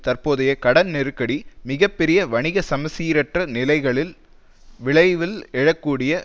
தற்போதைய கடன் நெருக்கடி மிக பெரிய வணிக சமசீரற்ற நிலைகளின் விளைவில் எழ கூடிய